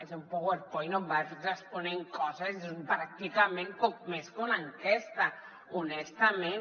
és un powerpoint on vas responent coses és pràcticament poc més que una enquesta honestament